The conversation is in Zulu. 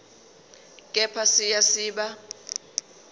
kepha siya siba